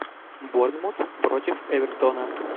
борнмут против эвертона